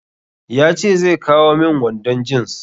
Ya ce zai kawo min wandon jins.